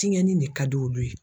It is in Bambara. Tiɲɛni de ka di olu ye.